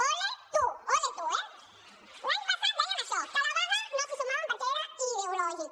ole tú ole tú eh l’any passat deien això que a la vaga no s’hi sumaven perquè era ideològica